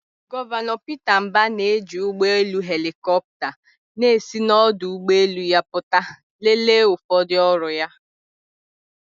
Gọvanọ Peter Mbah na-eji ụgbọ elu helikopta na-esi n'ọdụ ụgbọ elu pụta lelee ụfọdụ ọrụ ya.